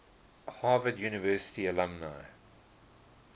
harvard university alumni